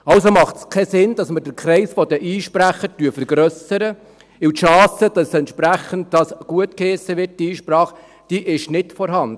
Also macht es keinen Sinn, dass wir den Kreis der Einsprecher vergrössern, denn die Chance, dass diese Einsprache gutgeheissen wird, ist nicht vorhanden.